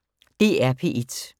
DR P1